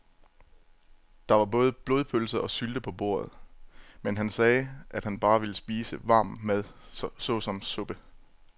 Der var både blodpølse og sylte på bordet, men han sagde, at han bare ville spise varm mad såsom suppe.